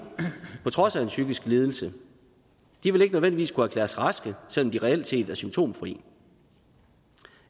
på trods af en psykisk lidelse de vil ikke nødvendigvis kunne erklæres raske selv om de reelt set er symptomfri